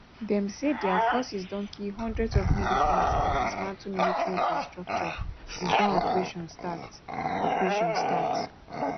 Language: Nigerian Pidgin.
dem say dia forces don kill hundreds of militants and dismantle military infrastructure since dat operation start operation start